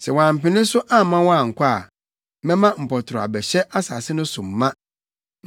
Sɛ woampene so amma wɔankɔ a, mɛma mpɔtorɔ abɛhyɛ asase no so ma.